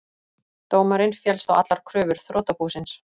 Dómarinn féllst á allar kröfur þrotabúsins